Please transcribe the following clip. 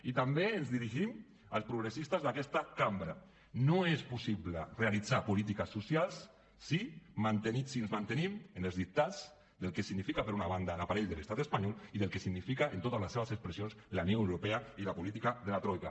i també ens dirigim als progressistes d’aquest cambra no és possible realitzar polítiques socials si ens mantenim en els dictats del que significa per una banda l’aparell de l’estat espanyol i del que significa en totes les seves expressions la unió europea i la política de la troica